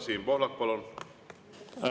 Siim Pohlak, palun!